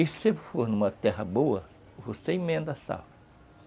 E se for numa terra boa, você emenda a safra.